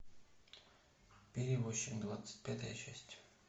перевозчик двадцать пятая часть